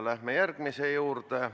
Läheme järgmise küsimuse juurde.